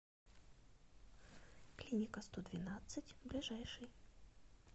клиника сто двенадцать ближайший